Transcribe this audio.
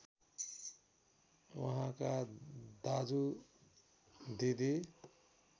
उहाँका दाजु दिदी